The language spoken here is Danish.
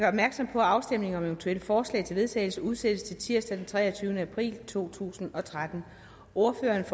opmærksom på at afstemning om eventuelle forslag til vedtagelse udsættes til tirsdag den treogtyvende april to tusind og tretten ordføreren